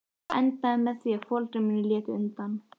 Það endaði með því að foreldrar mínir létu undan.